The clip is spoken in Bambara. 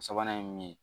Sabanan ye mun ye